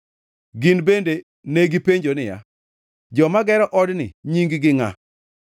Gin bende negipenjo niya, “Joma gero odni nying-gi ngʼa?”